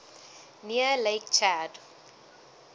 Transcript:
near lake chad